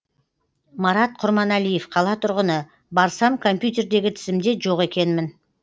марат құрманәлиев қала тұрғыны барсам компьютердегі тізімде жоқ екенмін